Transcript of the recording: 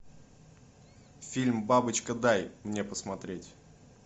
фильм бабочка дай мне посмотреть